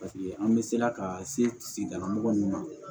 Paseke an bɛ sela ka se sigidala mɔgɔ min ma